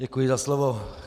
Děkuji za slovo.